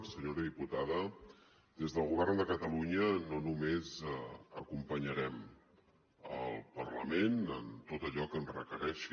senyora diputada des del govern de catalunya no només acompanyarem el parlament en tot allò que ens requereixi